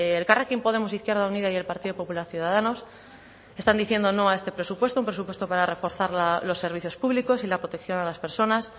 elkarrekin podemos izquierda unida y el partido popular ciudadanos están diciendo no a este presupuesto un presupuesto para reforzar los servicios públicos y la protección a las personas